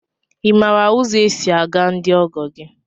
I maara ụzọ e si aga ndị ọgọ gị?